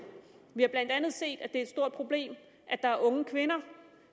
vi har blandt andet set at det et stort problem at der er unge kvinder